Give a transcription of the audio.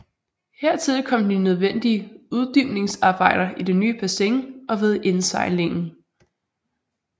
Hertil kom de nødvendige uddybningsarbejder i det nye bassin og ved indsejlingen